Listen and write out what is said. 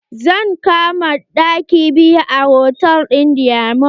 Zan kama ɗaki biyu a hotal ɗin diamond.